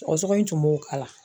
Sɔgɔsɔgɔ in tun b'o k'ala